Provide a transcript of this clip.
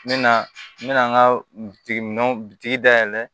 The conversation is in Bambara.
N mɛna n mɛna n ka bitigi min bitigi dayɛlɛ